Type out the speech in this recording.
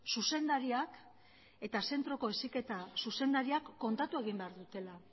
zuzendariak eta zentroko heziketa zuzendariak kontatu egin behar dutela